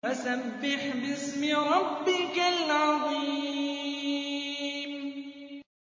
فَسَبِّحْ بِاسْمِ رَبِّكَ الْعَظِيمِ